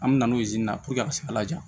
An mi na n'o ye na a ka se ka laja